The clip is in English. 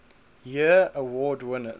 year award winners